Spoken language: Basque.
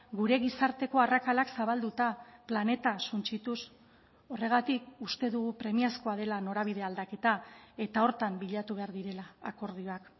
gure gizarteko arrakalak zabalduta planeta suntsituz horregatik uste dugu premiazkoa dela norabide aldaketa eta horretan bilatu behar direla akordioak